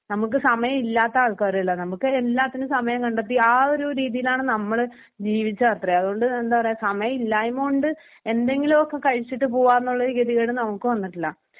നമുക്ക് സമയം ഇല്ലാത്ത ആൾക്കാരല്ല നമുക്ക് എല്ലാത്തിനും സമയം കണ്ടെത്തി ആ ഒരു രീതിയിലാണ് നമ്മള് ജീവിച്ചതത്രേ അതുകൊണ്ട് എന്താ പറയ്ക സമയം ഇല്ലായ്മ കൊണ്ട് എന്തെങ്കിലുമൊക്കെ കഴിച്ചിട്ട് പോവുന്നുള്ളൊരു ഗതികേട് നമുക്ക് വന്നിട്ടില്ല